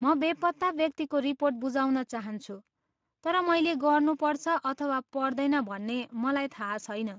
म बेपत्ता व्यक्तिको रिपोर्ट बुझाउन चाहन्छु तर मैले गर्नुपर्छ अथवा पर्दैन भन्ने मलाई थाहा छैन।